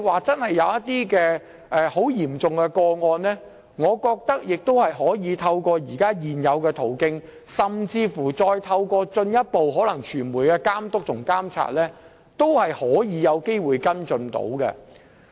即使有十分嚴重的個案，我認為也可透過現有途徑，甚至進一步透過傳媒的監督和監察，有機會作出跟進。